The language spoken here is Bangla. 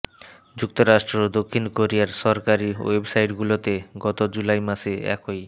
যুক্তরাষ্ট্র ও দক্ষিণ কোরিয়ার সরকারি ওয়েবসাইটগুলোতে গত জুলাই মাসে একই